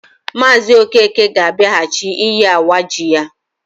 Maazi Okeke ga abiaghachi iyi awa ji ya.